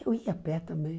Eu ia a pé também.